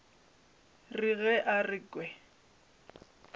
re ge a re ke